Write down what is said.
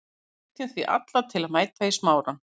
Við hvetjum því alla til að mæta í Smárann.